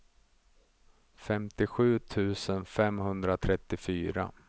femtiosju tusen femhundratrettiofyra